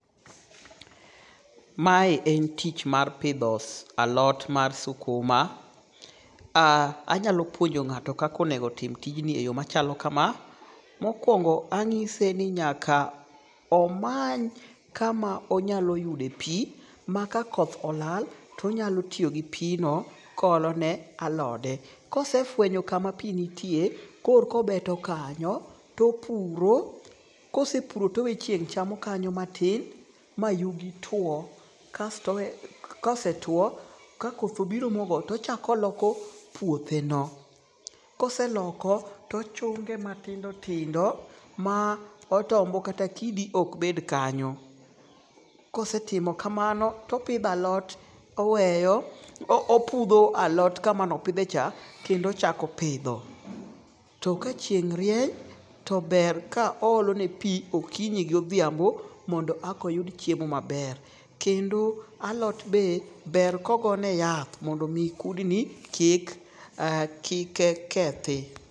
Mae en tich mar pidho alot mar sukuma. Anyalo puonjo ng'ato kaka onego tim tijni e yo machalo kama. Mokwongo anyise ni mondo omany kama onyalo yude pi. Ma ka koth olal tonyalo tiyo gi pi no ko olo ne alode. Kosefwenyo kama pi nitie, kor kobeto kanyo topuro. Kosepuro towe chieng' chamo kanyo matin mayugi tuo. Kosetuo, kakothnobiro mogoyo tochakoloko puothe no. Koseloko tochunge matindo tindo ma otombo kata kidi ok bed kanyo. Kosetimo kamano topidho alot oweyo opudho alot kamanopidhe cha kendo ochako pidho. To ka chieng' rieny to ber ka oolo ne pi okinyi gi odhiambo mondo e ka oyud chiemo maber. Kendo alot be ber ka ogo ne yath mondo kudni kik kethi.